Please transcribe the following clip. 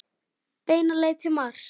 Beina leið til Mars.